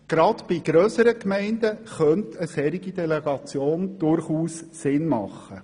Gerade bei grösseren Gemeinden könnte eine solche Delegation durchaus Sinn machen.